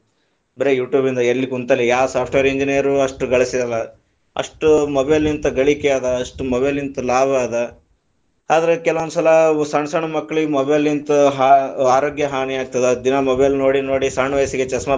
ಬರೇ YouTube ಇಂದ ಎಲ್ಲಿ ಕುಂತಲ್ಲಿ ಯಾವ software engineer ಅಷ್ಟ್ ಗಳಿಸಿರಲಿಲ್ಲಾ, ಅಷ್ಟು mobile ತ ಗಳಿಕಿ ಅದ, ಅಷ್ಟು mobile ತ ಲಾಭ ಅದ, ಆದ್ರೆ ಕೆಲವೊಂದು ಸಲಾ ಸಣ್ಣಸಣ್ಣ ಮಕ್ಕಳಿಗೆ mobile ತ ಆ~ ಆರೊಗ್ಯ ಹಾನಿಯಾಗ್ತದ, ದಿನಾ ಮೊಬೈಲ್ ನೋಡಿ ನೋಡಿ ಸಣ್ಣ ವಯಸ್ಸಿಗೆ चश्मा .